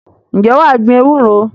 Ǹjẹ́ wà á gbin ewúro?